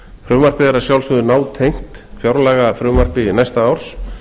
frumvarpið er að sjálfsögðu nátengt fjárlagafrumvarpi næsta árs